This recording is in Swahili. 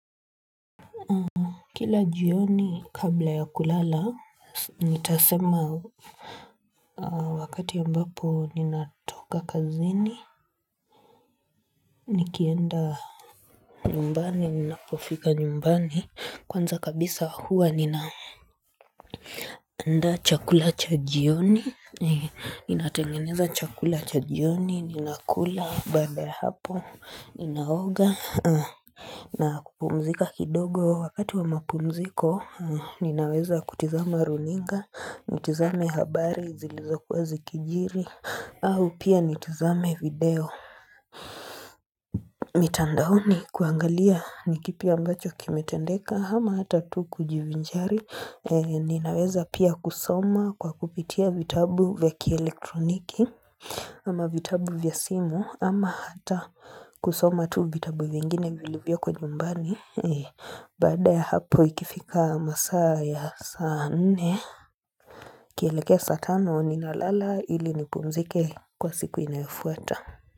Kila jioni kabla ya kulala, nitasema Wakati ambapo ninatoka kazini nikienda nyumbani ninapofika nyumbani kwanza kabisa huwa nina andaa chakula cha jioni Ninatengeneza chakula cha jioni ninakula baada ya hapo ninaoga na kupumzika kidogo wakati wa mapumziko, ninaweza kutizama runinga, nitizame habari zilizokuwa zikijiri, au pia nitizame video. Mitandaoni kuangalia ni kipi ambacho kimetendeka, ama hata tu kujivinjari, ninaweza pia kusoma kwa kupitia vitabu vya kielektroniki, ama vitabu vya simu ama hata kusoma tu vitabu vingine vilivyoko nyumbani Baada ya hapo ikifika masaa ya saa nne ikielekea saa tano ninalala ili nipumzike kwa siku inayofuata.